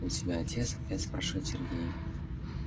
у тебя отец опять спрашивает сергей